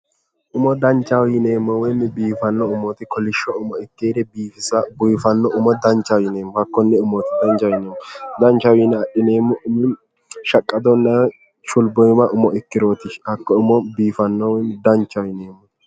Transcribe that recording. Umo danchaho yineemmo woyi biifanno umooti danchaho yineemmoha konne umooti danchaho yineemmohu. Yineemmo umi shaqqadonna shulbiibba umo ikkirooti. Hakko umo biifannoho woyi danchaho yineemmo.